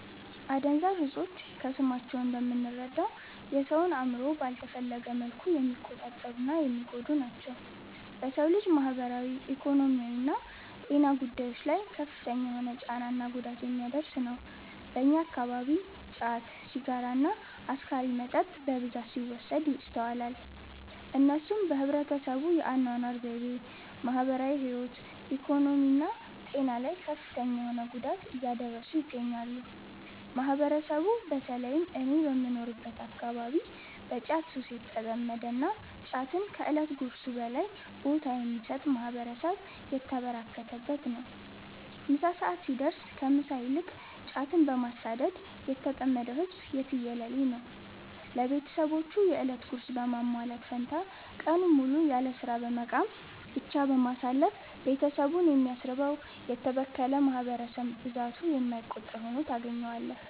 አደንዛዥ እፆች ከስማቸው እንደምንረዳው የ ሰውን አእምሮ ባልተፈለገ መልኩ የሚቆጣጠሩ እና የሚጎዱ ናቸው። በ ሰው ልጅ ማህበራዊ፣ ኢኮኖሚያዊና ጤና ጉዳዮች ላይ ከፍተኛ የሆነ ጫና እና ጉዳት የሚያደርስ ነው። በእኛ አከባቢ ጫት፣ ሲጋራ እና አስካሪ መጠጥ በብዛት ሲወሰድ ይስተዋላል። እነሱም በህብረተሰቡ የ አናኗር ዘይቤ፣ ማህበራዊ ህይወት፣ ኢኮኖሚ እና ጤና ላይ ከፍተኛ የሆነ ጉዳት እያደረሱ ይገኛሉ። ማህበረሰቡ በ ተለይም እኔ በምኖርበት አከባቢ በ ጫት ሱስ የተጠመደ እና ጫትን ከ እለት ጉርሱ በላይ ቦታ የሚሰጥ ማህበረሰብ የተበራከተበት ነው። ምሳ ሰዐት ሲደርስ ከ ምሳ ይልቅ ጫትን በማሳደድ የተጠመደው ህዝብ የትየለሌ ነው። ለቤትሰቦቹ የ እለት ጉርስ በማሟላት ፈንታ ቀኑን ሙሉ ያለስራ በመቃም ብቻ በማሳለፍ ቤትሰቡን የሚያስርበው: የተበከለ ማህበረሰብ ብዛቱ የማይቆጠር ሁኖ ታገኛዋለህ።